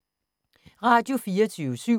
Radio24syv